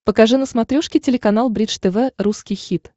покажи на смотрешке телеканал бридж тв русский хит